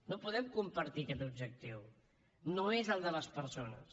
no podem compartir aquest objectiu no és el de les persones